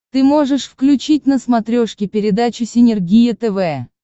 ты можешь включить на смотрешке передачу синергия тв